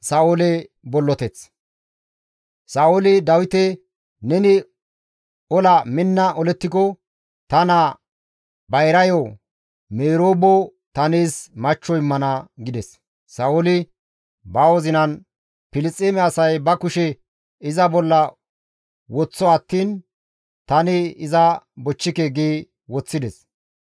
Sa7ooli Dawite, «Neni ola minna olettiko ta naa bayrayo Meroobo ta nees machcho immana» gides; Sa7ooli ba wozinan, «Filisxeeme asay ba kushe iza bolla woththo attiin tani iza bochchike» gi woththides.